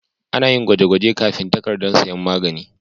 Ana yin gwaje-gwaje kafin takardar sayan magani.